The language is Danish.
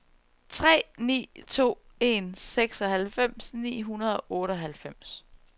tre ni to en seksoghalvfems ni hundrede og otteoghalvfems